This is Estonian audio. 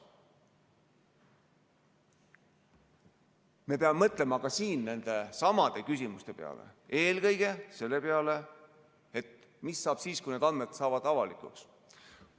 Me peame mõtlema ka siin nendesamade küsimuste peale, eelkõige selle peale, et mis saab siis, kui need andmed saavad avalikuks.